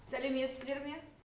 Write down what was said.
сәлеметсіздер ме